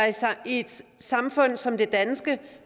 i et samfund som det danske